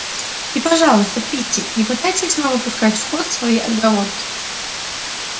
и пожалуйста питти не пытайтесь снова пускать в ход свои отговорки